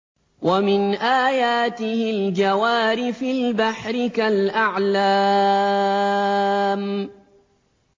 وَمِنْ آيَاتِهِ الْجَوَارِ فِي الْبَحْرِ كَالْأَعْلَامِ